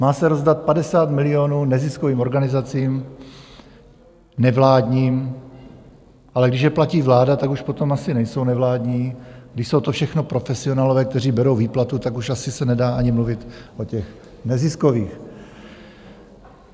Má se rozdat 50 milionů neziskovým organizacím nevládním, ale když je platí vláda, tak už potom asi nejsou nevládní, když jsou to všechno profesionálové, kteří berou výplatu, tak už asi se nedá ani mluvit o těch neziskových.